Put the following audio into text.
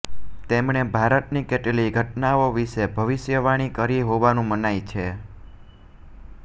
તેમણે ભારતની કેટલીય ઘટનાઓ વિશે ભવિષ્યવાણી કરી હોવાનું મનાય છે